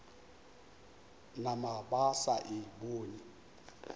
nama ba sa e bone